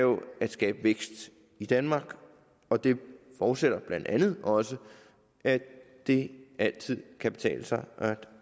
skabe vækst i danmark og det forudsætter blandt andet også at det altid kan betale sig